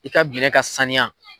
I ka binɛn ka sanuya.